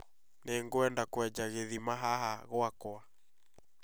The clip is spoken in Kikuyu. Nĩngwenda kũenja gĩthima haha gwakwa